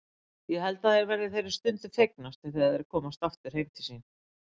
Ég held að þeir verði þeirri stundu fegnastir þegar þeir komast heim til sín aftur.